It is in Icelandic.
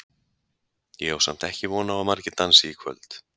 Ég á samt ekki von á að margir dansi í kvöld.